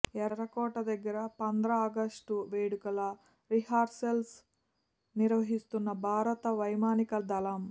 ఎర్రకోట దగ్గర పంద్రాగస్టు వేడుకల రిహార్సల్ నిర్వహిస్తున్న భారత వైమానిక దళం